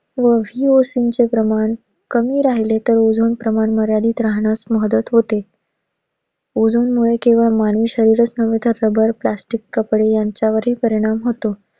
चे प्रमाण, कमी राहिले तर ozone प्रमाण मर्यादित राहण्यास मदत होते. Ozone मुळे केवळ मानवी शरीरच नव्हे तर सगळ्या plastic कपडे ह्यांच्यावर हि परिणाम होतो.